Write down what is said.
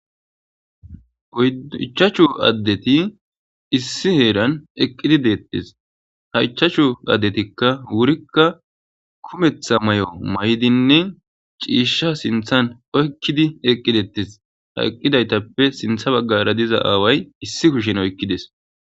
Iichachu addeti issi heeran eqqidi deettis haichachu addetikka wurikka kumetha may'o maydinne ciisha sinthan oykkidi eqqidettis haqqidaytappe sintha baggara diza aaway issi kushen oykkides.